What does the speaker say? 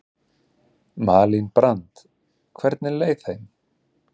Malín Brand: Hvernig leið þeim?